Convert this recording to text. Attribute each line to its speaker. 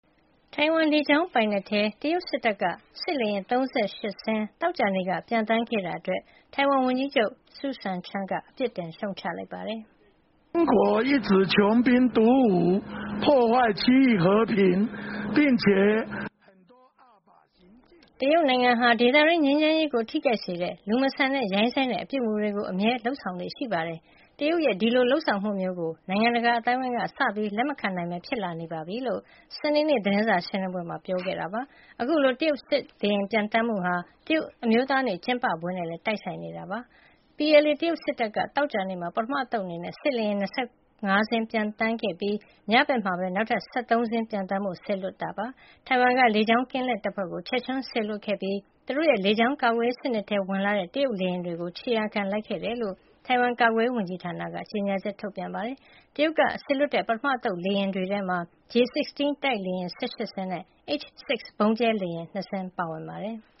Speaker 1: ထိုင်ဝမ် လေကြောင်းပိုင်နက်ထဲ တရုတ်စစ်တပ်က စစ်လေယာဉ် ၃၈ စင်း သောကြာနေ့က ပျံသန်းခဲ့တာအတွက် ထိုင်ဝမ်ဝန်ကြီးချုပ် Su Tseng-chang က အပြစ်တင် ရှုတ်ချလိုက်ပါတယ်။ "တရုတ်နိုင်ငံဟာ ဒေသတွင်း ငြိမ်းချမ်းရေးကို ထိခိုက်စေတဲ့ လူမဆန်တဲ့ ရိုင်းစိုင်းတဲ့ အပြုအမူတွေကို အမြဲ လုပ်ဆောင်လေ့ ရှိပါတယ်။ တရုတ်ရဲ့ ဒီလိုလုပ်ဆောင်မှုမျိုးကို နိုင်ငံတကာ အသိုင်းအဝိုင်းက စပြီး လက်မခံနိုင်ဘဲ ဖြစ်လာနေပြီ။” လို့ စနေနေ့ သတင်းစာရှင်းလင်းပွဲမှာ ပြောသွားတာပါ။ အခုလို တရုတ်စစ်လေယာဉ် ပျံသန်းမှုဟာ တရုတ်အမျိုးသားနေ့ ကျင်းပပွဲနဲ့လည်း တိုက်ဆိုင်နေတာ ဖြစ်ပါတယ်။ PLA တရုတ်စစ်တပ်က သောကြာနေ့မှာ ပထမအသုတ် အနေနဲ့ စစ်လေယာဉ် ၂၅ စင်း ပျံသန်းခဲ့ပြီး ညဘက်မှာပဲ နောက်ထပ် ၁၃ စင်း ပျံသန်းဖို့ စေလွှတ်ခဲ့တာ ဖြစ်ပါတယ်။ ထိုင်ဝမ်က လေကြောင်းကင်းလှည့်တပ်ဖွဲ့တွေကို ချက်ချင်း စေလွှတ်ခဲ့ပြီး သူတို့ရဲ့ လေကြောင်းကာကွယ်ရေး စနစ်ထဲကို ဝင်ရောက်လာတဲ့ တရုတ်လေယာဉ်တွေကို ခြေရာခံလိုက်ခဲ့တယ်လို့ ထိုင်ဝမ်ကာကွယ်ရေး ဝန်ကြီးဌာနက ကြေညာချက် ထုတ်ပြန်ပါတယ်။ တရုတ်ကစေလွှတ်တဲ့ ပထမအသုတ် လေယာဉ်တွေထဲမှာ J-16 တိုက်လေယာဉ် ၁၈ စင်းနဲ့ H-6 ဗုံးကြဲလေယာဉ် ၂ စင်း ပါဝင်ပါတယ်။